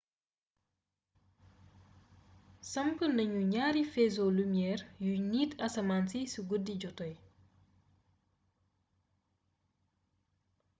samp nañu ñaari faisceau lumière yuy niit asmaan si su guddi jotee